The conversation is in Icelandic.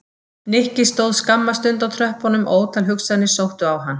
Nikki stóð skamma stund á tröppunum og ótal hugsanir sóttu á hann.